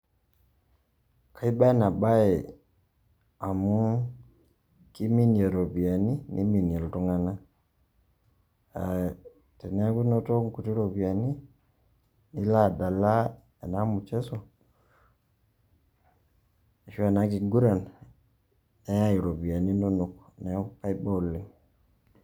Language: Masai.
Kaiba ena baye amu keiminie iropiani niminie iltung'anak, teneeku inoto inkuti ropiyani nilo adala ena mchezo arashu ena kiguran neyai iropiani inonok neeku kaiba oleng'.